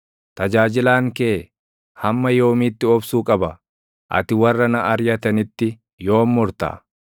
Tajaajilaan kee hamma yoomiitti obsuu qaba? Ati warra na ariʼatanitti yoom murta?